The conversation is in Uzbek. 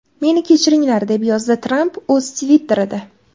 Meni kechiringlar!” deb yozdi Tramp o‘z Twitter’ida.